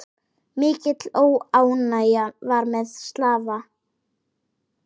Mikil óánægja var meðal slava.